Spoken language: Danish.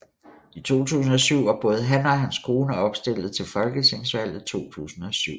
I 2007 var både han og hans kone opstilled til Folketingsvalget 2007